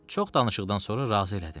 Çox danışıqdan sonra razı elədim.